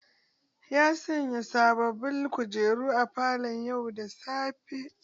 Ya sanya sababin kujeru a falo yau da safe